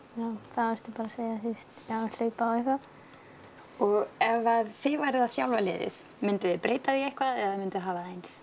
þá ertu bara segja já hlaupa og eitthvað og ef þið væruð að þjálfa liðið mynduð þið breyta því eitthvað eða hafa það eins